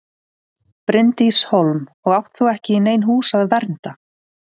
Bryndís Hólm: Og átt þú ekki í nein hús að vernda?